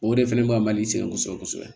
O de fɛnɛ b'a mali sɛgɛn kosɛbɛ kosɛbɛ